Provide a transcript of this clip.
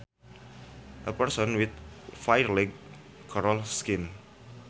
A person with fair light colored skin